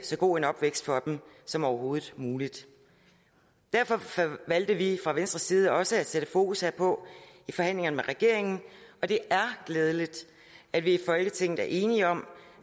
så god en opvækst for dem som overhovedet muligt derfor valgte vi fra venstres side også at sætte fokus herpå i forhandlingerne med regeringen og det er glædeligt at vi i folketinget er enige om